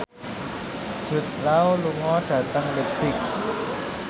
Jude Law lunga dhateng leipzig